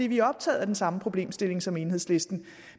vi er optaget af den samme problemstilling som enhedslisten